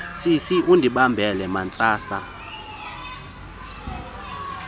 sisi undibambele mantsantsa